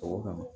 O kama